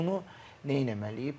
Hə bunu nə eləməliyik?